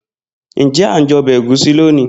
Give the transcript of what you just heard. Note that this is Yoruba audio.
Njẹ a njẹ ọbẹ Egusi loni?